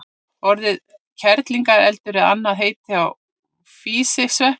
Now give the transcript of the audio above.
Orðið kerlingareldur er annað heiti á físisvepp.